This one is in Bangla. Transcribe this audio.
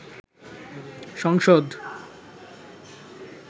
সংসদ